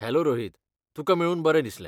Hello Rohit, तुका मेळून बरें दिसलें.